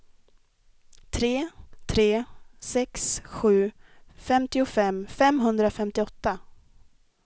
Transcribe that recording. tre tre sex sju femtiofem femhundrafemtioåtta